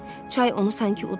Çay onu sanki uddudu.